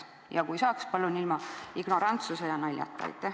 Ja kui saab, siis palun ilma ignorantsuse ja naljata.